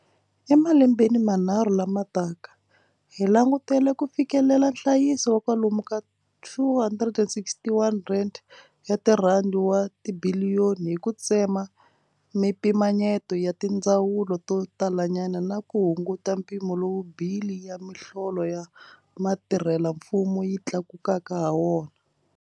Emalembeni manharhu lama taka, hi langutela ku fikelela nhlayiso wa kwalomu ka R261 wa tibiliyoni hi ku tsema mipimanyeto ya tindzawulo to talanyana na ku hunguta mpimo lowu bili ya miholo ya vatirhelamfumo yi tlakuka hawona.